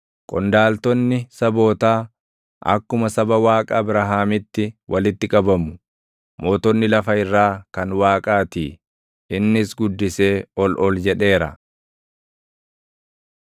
Qondaaltonni sabootaa, akkuma saba Waaqa Abrahaamitti walitti qabamu; mootonni lafa irraa kan Waaqaatii; innis guddisee ol ol jedheera.